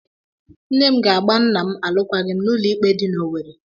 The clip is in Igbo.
Nne ga-aga a nna m alụkwaghịm n'ụlọikpe dị n'Owerre.